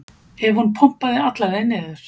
ef hún pompaði alla leið niður.